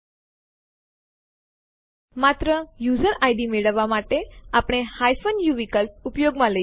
ધારો કે આપણી પાસે ૩ ફાઈલો આપણી હોમ ડિરેક્ટરીમાં છે abcટીએક્સટી popટીએક્સટી અને pushટીએક્સટી